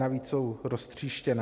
Navíc jsou roztříštěné.